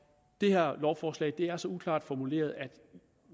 det her lovforslag er så uklart formuleret at